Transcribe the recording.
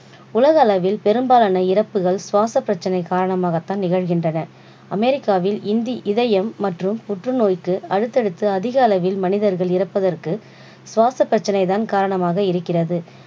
உலக அளவில் பெரும்பாலான இறப்புகள் சுவாச பிரச்சனை காரணமாக தான் நிகழ்கின்றன. அமெரிக்காவில் இன்று இதயம் மற்றும் புற்று தோய்க்கு அடுத்தடுத்து அதிகளவில் மனிதர்கள் இறப்பதற்கு சுவாச பிரச்சனை தான் காரணமாக இருக்கிறது.